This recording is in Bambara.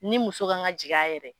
Ni muso kan ka jigi a yɛrɛ ye.